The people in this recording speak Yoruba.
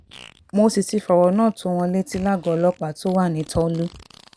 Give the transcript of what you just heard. mo sì ti fọ̀rọ̀ náà tó wọn létí lágọ̀ọ́ ọlọ́pàá tó wà ní tọ́lú